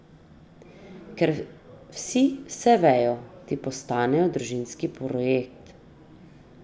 Ker vsi vse vejo, ti postanejo družinski projekt.